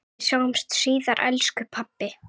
Við sjáumst síðar elsku pabbi.